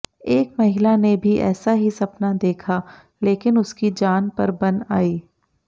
एक महिला ने भी ऐसा ही सपना देखा लेकिन उसकी जान पर बन आई